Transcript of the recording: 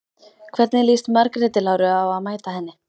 Hvernig líst Margréti Láru á að mæta henni?